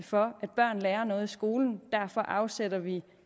for at børn lærer noget i skolen og derfor afsætter vi